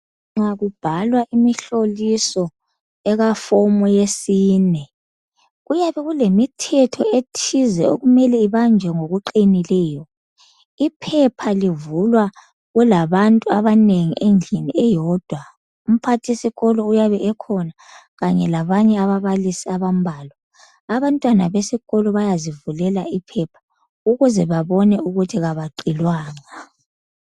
Nxa kubhalwa imihloliso akafomu yesine kuyabe kulemithetho ethize okumele ibanjwe ngokupheleleyo iphepha livulwa kulabantu abanengi endlini eyodwa umphathisikolo uyabe ekhona kanye labanye ababalisi abambalwa abantwana besikolo bayazivulela iphepha ukuze babone ukuthi abaqilwanga